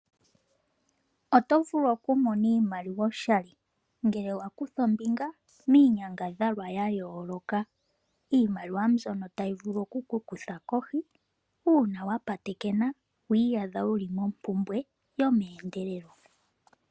Oto vulu okumona iimaliwa oshali ngele wakutha ombinga miinyangadhalwa ya yooloka. Iimaliwa mbyono tayi vulu okuku kutha kohi uuna wapatekena wiiyadha wuli mompumbwe yomeendelelo.